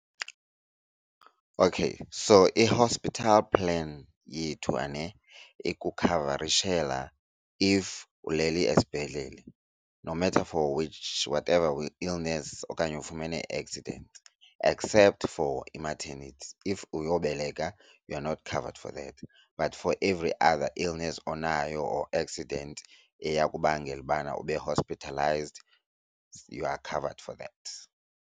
Okay, so i-hospital plan yethu, ane ikukhavarishela if ulele esibhedlele no matter for which whatever illness okanye ufumene i-accident, except for i-maternity. If uyobeleka you are not covered for that. But for every other illness onayo or accident eyakubangela ubana ube-hospitalized you are covered for that.